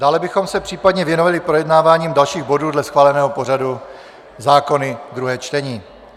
Dále bychom se případně věnovali projednáváním dalších bodů dle schváleného pořadu - zákony druhé čtení.